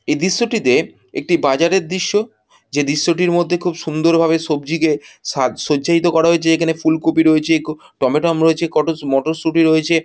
এই দৃশ্যটিতে একটি বাজারের দৃশ্য। যে দৃশ্যটির মধ্যে খুব সুন্দর ভাবে সবজিকে সা সজ্জায়িত করা হয়েছে। এখানে ফুলকপি রয়েছে ক টমেটোম রয়েছে কতো মটরশুঁটি রয়েছে।